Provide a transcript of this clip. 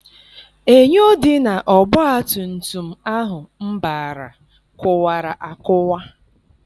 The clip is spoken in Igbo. Enyo dị n' ọgbatumtum ahụ m bara kụwara akụwa.